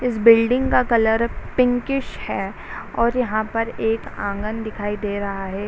इस बिल्डिंग का colour pinkish हैं और यहाँ पर एक आंगन दिखाई दे रहा है |